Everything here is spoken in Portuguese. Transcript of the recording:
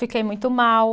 Fiquei muito mal.